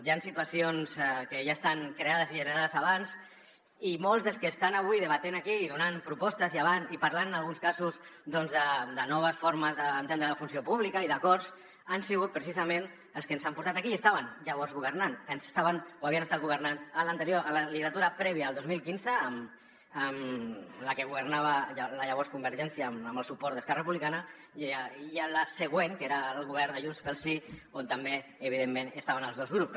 hi han situacions que ja estan creades i generades abans i molts dels que estan avui debatent aquí i donant propostes i parlant en alguns casos doncs de noves formes d’entendre la funció pública i d’acords han sigut precisament els que ens han portat aquí i estaven llavors governant estaven o havien estat governant en l’anterior legislatura prèvia al dos mil quinze en la que governava la llavors convergència amb el suport d’esquerra republicana i a la següent que era el govern de junts pel sí on també evidentment estaven els dos grups